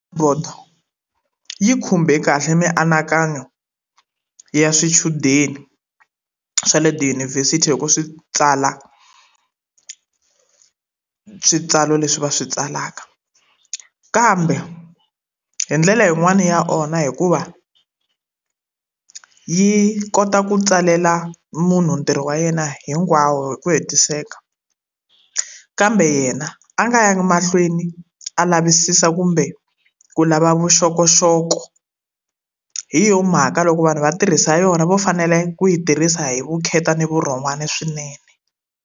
yi khumbe kahle mianakanyo ya swichudeni swa le tiyunivhesiti loko swi tsala switsalo leswi va swi tsalaka. Kambe hi ndlela yin'wani ya onha hikuva yi kota ku tsalela munhu ntirho wa yena hinkwawo hi ku hetiseka, kambe yena a nga yangi mahlweni a lava wisisa kumbe ku lava vuxokoxoko. Hi yona mhaka loko vanhu va tirhisa yona vo fanele ku yi tirhisa hi vukheta na vurhon'wana swinene.